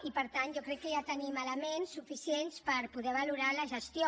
i per tant jo crec que ja tenim elements suficients per poder valorar ne la gestió